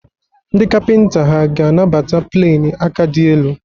Ndị kapịnta hà ga-anabata pleni aka dị elu?